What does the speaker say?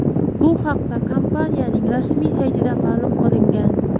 Bu haqda kompaniyaning rasmiy saytida ma’lum qilingan.